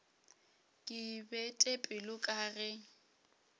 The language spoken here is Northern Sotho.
ke bete pelo ka ge